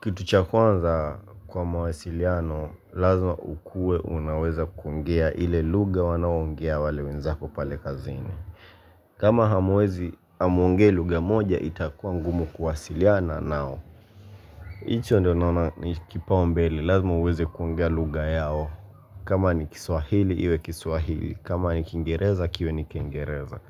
Kitu cha kwanza kwa mawasiliano, lazima ukue unaweza kuongea ile lugha wanaoongea wale wenzako pale kazini. Kama hamwezi hamuongei lugha moja, itakua ngumu kuwasiliana nao. Hicho ndio naona ni kipaombele, lazima uweze kuongea lugha yao. Kama ni kiswahili, iwe kiswahili. Kama ni kingereza, kiwe ni kingereza.